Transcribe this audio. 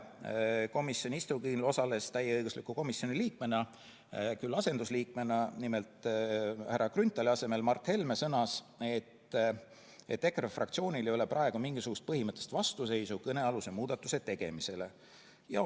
Komisjoni istungil osales komisjoni täieõigusliku liikmena, küll härra Grünthali asendusliikmena Mart Helme, kes sõnas, et EKRE fraktsioonil ei ole praegu mingisugust põhimõttelist vastuseisu kõnealuse muudatuse tegemisele.